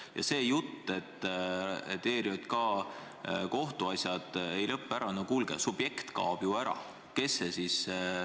Ja see jutt, et ERJK kohtuasjad ei lõpe ära – no kuulge, subjekt kaob ju ära!